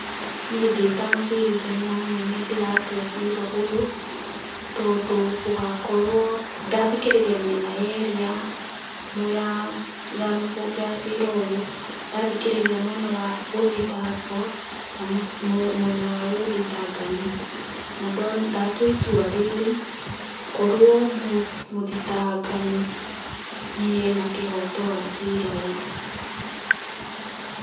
Niĩ ndĩta mũcirithania mũnene ndĩratua cira ũyũ, tondũ ũgakorwo, ndathikĩrĩria mĩena yerĩ ya cira ũyũ, ndathikĩrĩria gũthitangwo na mwena wa gũthitangani, na ndatua itua rĩrĩ, korwo mũthitangani nĩ ena kĩhoto gia cira ũyũ.